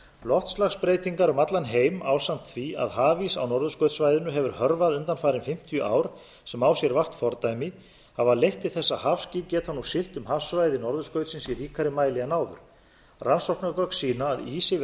loftslagsbreytingar um allan heim ásamt því að hafís á norðurskautssvæðinu hefur hörfað undanfarin fimmtíu ár sem á sér vart fordæmi hafa leitt til þess að hafskip geta nú siglt um hafsvæði norðurskautsins í ríkari mæli en áður rannsóknargögn sýna að ís yfir